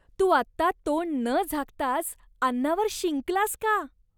तू आत्ता तोंड न झाकताच अन्नावर शिंकलास का?